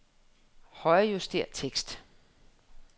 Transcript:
Højrejuster tekst.